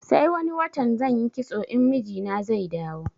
Sai wani watan zanyi kitso in mijina zai dawo